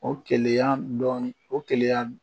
O keleya dɔɔnin o keleya